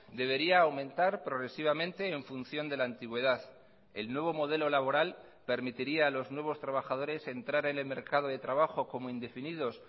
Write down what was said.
debería aumentar progresivamente en función de la antigüedad el nuevo modelo laboral permitiría a los nuevos trabajadores entrar en el mercado de trabajo como indefinidos